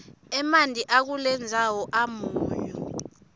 emanti akulendzawo amunyu